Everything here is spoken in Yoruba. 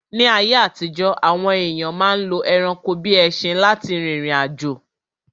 Ní ayé àtijọ́, àwọn èyàn ma ń lo ẹranko bíi ẹṣin lá ti rìrìn àjò.